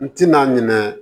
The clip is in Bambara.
N tɛna ɲinɛ